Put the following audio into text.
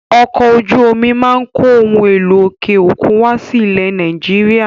Ọkọ̀ ojú omi máa ń kó ohun èlò òkè òkun wá sí ilẹ̀ Nàìjíríà.